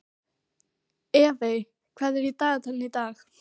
Evey, hvað er í dagatalinu í dag?